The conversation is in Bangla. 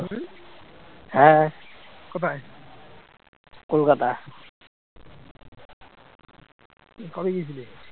কবে গিয়েছিলি